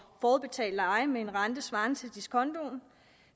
forudbetalt leje med en rente svarende til diskontoen